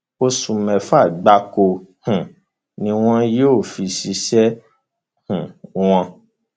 oṣù mẹfà gbáko um ni wọn yóò fi ṣiṣẹ um wọn